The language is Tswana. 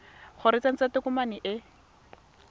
gore o tsentse tokomane e